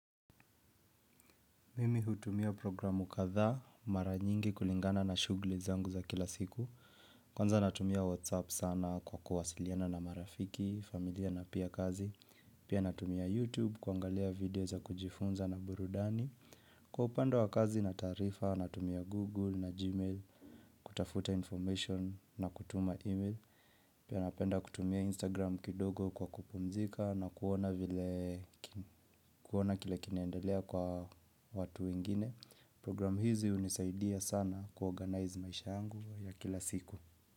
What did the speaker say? Mimi hutumia programu kadhaa, mara nyingi kulingana na shughli zangu za kila siku Kwanza natumia whatsApp sana kwa kuwasiliana na marafiki, familia na pia kazi. Pia natumia Youtube, kuangalia video za kujifunza na burudani. Kwa upando wa kazi na tarifa, natumia google na gmail, kutafuta information na kutuma email Pia napenda kutumia instagram kidogo kwa kupumzika na kuona vile ki kuona kile kinaendelea kwa watu wengine. Programu hizi hunisaidia sana kuorganize maisha yangu ya kila siku.